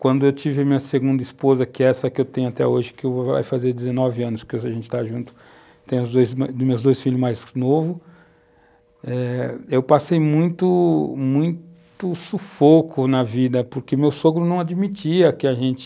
Quando eu tive a minha segunda esposa, que é essa que eu tenho até hoje, que vai fazer 19 anos que a gente está junto, tem os dois, dos meus dois filhos mais novos, eu passei muito, muito sufoco na vida, porque meu sogro não admitia que a gente